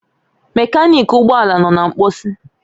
Mekaniki ụgbọ ala nọ na mposi